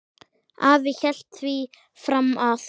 Afi hélt því fram að